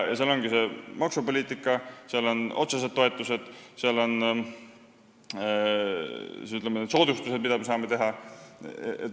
Maksupoliitika, otsesed toetused ja soodustused – see ongi see, mida me teha saame.